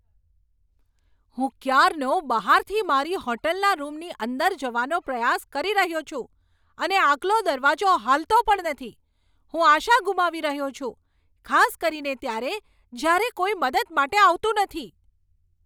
હું ક્યારનો બહારથી મારી હોટલના રૂમની અંદર જવાનો પ્રયાસ કરી રહ્યો છું અને આગલો દરવાજો હાલતો પણ નથી! હું આશા ગુમાવી રહ્યો છું, ખાસ કરીને ત્યારે, જ્યારે કોઈ મદદ માટે આવતું નથી.